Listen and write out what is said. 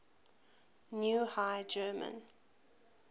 new high german